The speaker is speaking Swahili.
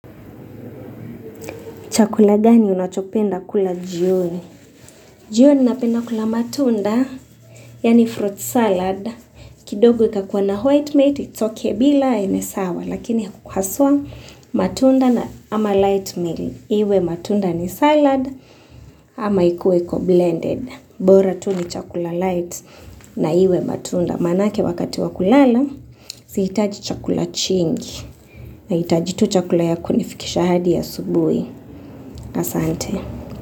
Chakula gani unachopenda kula jioni? Jioni napenda kula matunda, yani fruit salad. Kidogo ikakuwa na white meat, it's okay bila, ni sawa. Lakini haswa matunda na ama light meal. Iwe matunda ni salad ama ikue iko blended. Bora tu ni chakula light na iwe matunda. Manake wakati wa kulala, sihitaji chakula chingi. Nahitaji tu chakula ya kunifikisha hadi asubuhi. Asante.